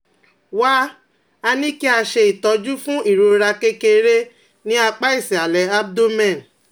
Wá a ní kí a ṣe itọju fún ìrora kékeré ní apá ìsàlẹ̀ abdomen